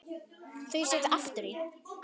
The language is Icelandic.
Þau sitja aftur í.